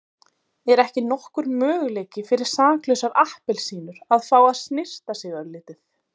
Er ekki nokkur möguleiki fyrir saklausar appelsínur að fá að snyrta sig örlítið.